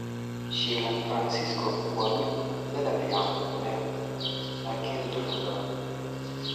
Shiilan Faransiisku waa mid dhadhan fiican leh laakiin dufan badan.